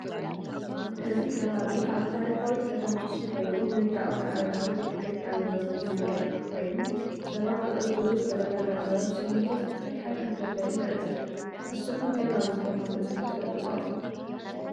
እዚ ከባቢ አብ ታሪካዊት ከተማ አክሱም ኮይኑ ንእንዳ አወነአረጋዊ ቤ ክርስትያን ዝውስድ መንገዲ ኮይኑ ሰባት ክዕርፉሉ ዝተዘጋጀወ ብስሚንቶ ዝተሰርሐ ከፍ መበሊ ንዕዘብ ንስክም ከ ናብዚ ቦታ መፂኩም ትፈልጡ ዶ?